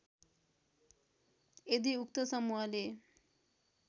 यदि उक्त समूहले